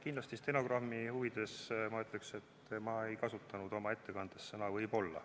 Kindlasti ütleksin stenogrammi huvides seda, et ma ei kasutanud oma ettekandes sõna "võib-olla".